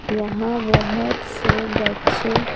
यहां बहुत से बच्चे--